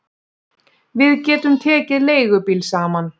Við getum tekið leigubíl saman